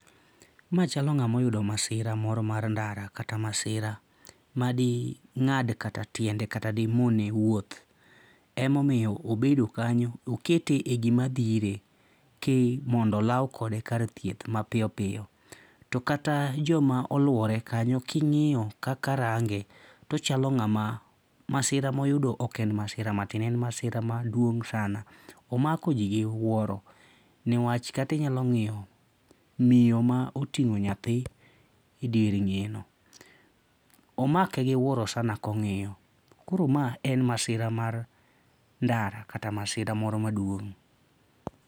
Ma chalo ng'ama oyudo masira moro mar ndara kata masira ma ding'ad kata tiende kata madimone wuotho emomiyo obedo kanyo okete e gima dhire. Ka mondo olaw kode kar thieth mapiyo piyo to kata joma oluore kanyo king'iyo kaka range to ochalo ng'ama masira moyudo ok en masira matin, en masira maduong' sana. Omako ji gi wuoro newach kata inyalo ng'iyo miyo ma oting'o nyathi e dier ng'eyeno., omake gi wuoro sana kong'iyo. Koro ma en masira mar ndara kata masira moro maduong'.